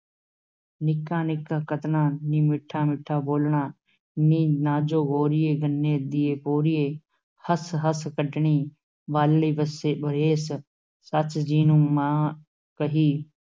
ਨਿੱਕਾ-ਨਿੱਕਾ ਕਤਣਾ, ਨੀਂ ਮਿੱਠਾ-ਮਿੱਠਾ ਬੋਲਣਾ, ਨੀ ਨਾਜੋ ਗੋਰੀਏ, ਗੰਨੇ ਦੀਏ ਪੋਰੀਏ, ਹੱਸ-ਹੱਸ ਕੱਢਣੀ ਬਾਲੜੀ ਵੱਸੇ ਵਰੇਸ, ਸੱਸ ਜੀ ਨੂੰ ਮਾਂ ਕਹੀਂ,